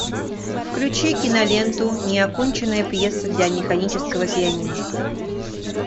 включи киноленту неоконченная пьеса для механического пианино